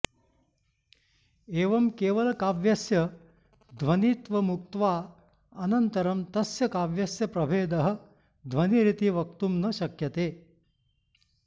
एवं केवलकाव्यस्य ध्वनित्वमुक्त्वा अनन्तरं तस्य काव्यस्य प्रभेदः ध्वनिरिति वक्तुं न शक्यते